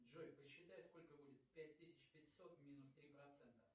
джой посчитай сколько будет пять тысяч пятьсот минус три процента